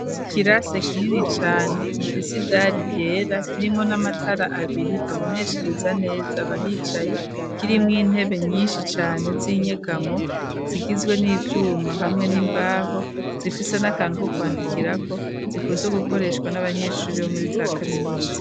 Ikirase, kinini cane, gifise idari yera, kirimwo n'amatara abiri, aboneshereza neza, abahicaye; kirimwo intebe, nyinshi cane, z'inyegamo, zigizwe n'ivyuma, hamwe n'imbaho; zifise n'akantu ko kwandikirako, zikunzwe gukoreshwa, n'abanyeshure, bo muri za kaminuza.